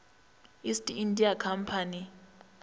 east india company